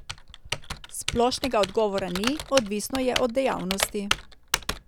Splošnega odgovora ni, odvisno je od dejavnosti.